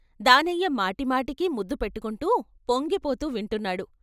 దానయ్య మాటిమాటికి ముద్దుపెట్టుకొంటూ పొంగి పోతూ వింటున్నాడు.